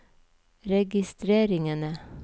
registreringene